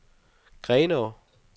Grenå